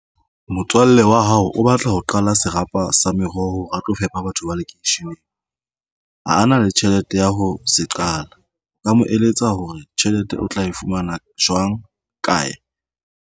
Motswalle wa hao o batla ho qala serapa sa meroho hore a tlo fepa batho ba lekeisheneng ha a na le tjhelete ya ho se qala o ka mo eletsa hore tjhelete o tla e fumana jwang kae?